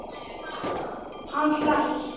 Hann hlær.